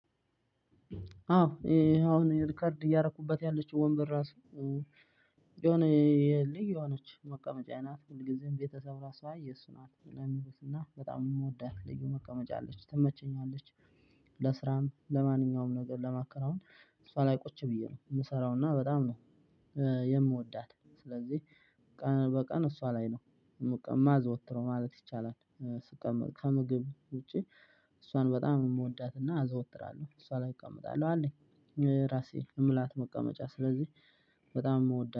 አዎ አሁን ሪከርድ እያደረኩባት ያለችው ወንበር ራሱ የሆነ ልዩ የሆነች መቀመጫ ናት ሁል ጊዜም ቤተሰብ ራሱ አይ የሱ ናት ነው የሚሉት እና በጣም የምወዳት ልዩ መቀመጫ አለች ትመቸኛለች። ለስራም ለማንኛውም ነገር ለማከናወን እሷ ላይ ቁጭ ብዬ ነው የምሰራውና በጣም ነው የምወዳት ስለዚህ ቀን በቀን እሷ ላይ ነው የማዘወትረው ማለት ይቻላል። ስቀመጥ ከምግብ ውጪ እሷን በጣም ነው የምወዳት እና አዘወትራለሁ እሷ ላይ እቀመጣለሁ። አለኝ የራሴ እምላት መቀመጫ ስለዚህ በጣም የምወዳት